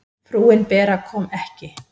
Frúin Bera kom ekki.